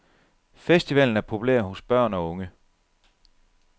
Festivalen er populær hos børn og unge.